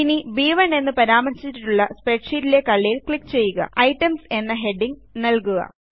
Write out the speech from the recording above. ഇനി ബ്1 എന്ന് പരാമർശിച്ചിട്ടുള്ള കള്ളിയിൽ ക്ലിക്ക് ചെയ്യുകയുംItems എന്ന് ഹെഡിംഗ് നല്കുക